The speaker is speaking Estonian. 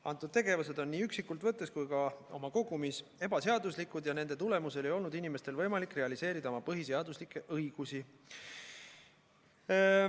Antud tegevused on nii üksikult võttes kui ka oma kogumis ebaseaduslikud ja nende tulemusel ei olnud inimestel võimalik realiseerida oma põhiseaduslikke õigusi.